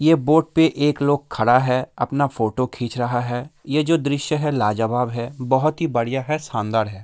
ये बोट पे एक लोग खड़ा है अपना फोटो खींच रहा है | ये जो दृश्य है लाजवाब है बहुत ही बढ़िया है शानदार है ।